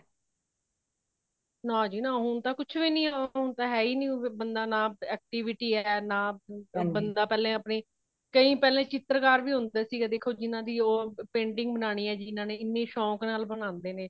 ਨਾ ਜੀ ਨਾ ਹੋਣ ਤਾ ਕੁਛ ਵੀ ਨਹੀਂ ਹੇ ,ਹੋਣ ਤਾ ਹੇਹਿ ਨਹੀਂ ਬੰਦਾ ਨਾ active ਹੇ ਨਾ ਬੰਦਾ ਪਹਲੇ ਅਪਣੀ ਕਈ ਪਹਲੇ ਚਿੱਤਰਕਾਰ ਵੀ ਹੋਂਦੇ ਸੀ ,ਦੇਖੋ ਜਿਨ੍ਹਾਂ ਦੀ painting ਬਣਾਉਣੀ ਹੈ ਜਿਨਾਨੇ ਏਨੇ ਸ਼ੋਂਕ ਨਾਲ ਬਣਾਉਂਦੇ ਨੇ